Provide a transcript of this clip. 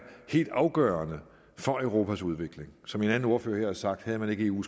helt afgørende for europas udvikling som en anden ordfører her har sagt havde man ikke eu